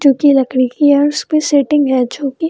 जो की लकड़ी की है और उसपे सेटिंग रह चुकी --